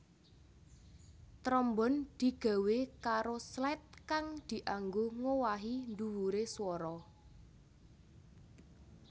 Trombon digawé karo slide kang dianggo ngowahi dhuwure swara